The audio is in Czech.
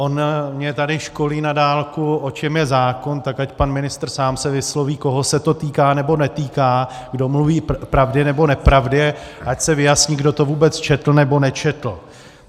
On mě tady školí na dálku, o čem je zákon, tak ať pan ministr sám se vysloví, koho se to týká nebo netýká, kdo mluví pravdy nebo nepravdy, ať se vyjasní, kdo to vůbec četl nebo nečetl.